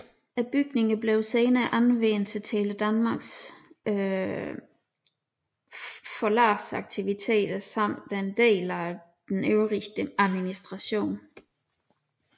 Bygningerne blev senere anvendt til Tele Danmarks forlagsaktiviteter samt en del af den øvrige administration